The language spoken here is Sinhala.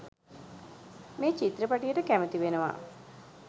මේ චිත්‍රපටියට කැමති වෙනවා.